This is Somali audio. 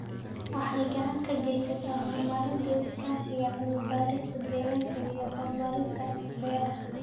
Waxay gacan ka geysataa horumarinta iskaashiga cilmi-baarista deegaanka iyo horumarinta beeraha.